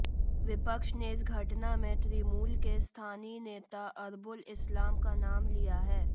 विपक्ष ने इस घटना में तृणमूल के स्थानीय नेता अरबुल इस्लाम का नाम लिया है